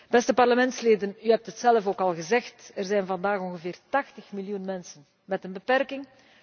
Beste parlementsleden, u heeft het zelf al gezegd, er zijn vandaag ongeveer 80 miljoen mensen met een beperking.